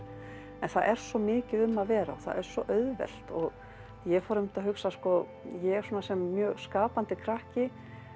en það er svo mikið um að vera og það er svo auðvelt og ég fór einmitt að hugsa að ég svona sem mjög skapandi krakki